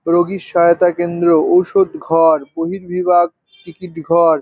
রোগীর সহায়তা কেন্দ্র ওষুধ ঘরবর্হীবিভাগ টিকিট ঘর।